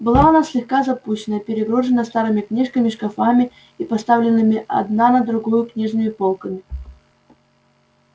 была она слегка запущена перегружена старыми книжными шкафами и поставленными одна на другую книжными полками